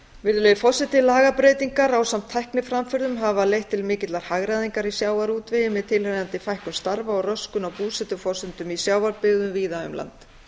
virðulegi forseti lagabreytingar ásamt tækniframförum hafa leitt til mikillar hagræðingar í sjávarútvegi með tilheyrandi fækkun starfa og röskun á búsetuforsendum í sjávarbyggðum víða um land